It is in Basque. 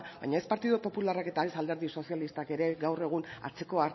baina ez partidu popularrak eta ez alderdi sozialistak ere gaur egun atzeko